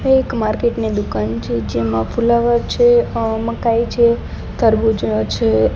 આ એક માર્કેટ ની દુકાન છે જેમાં ફુલાવર છે મકાઈ છે તરબુજ છે.